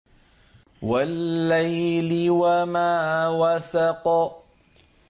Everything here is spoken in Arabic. وَاللَّيْلِ وَمَا وَسَقَ